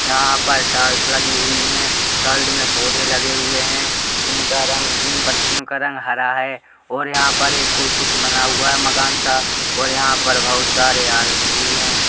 यहाँ पर टाईल्स लगी हुई हैं। साईड में पौधे लगे हुए हैं। जिनका रंग जिन पत्तियों का रंग हरा है और यहाँ पर एक कुछ बना हुआ है मकान सा और यहाँ पर बहुत सारे आदमी भी हैं।